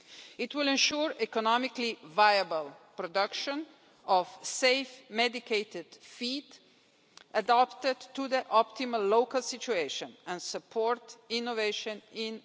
It will ensure the economically viable production of safe medicated feed adapted to the optimal local situation and support innovation in medical pet food.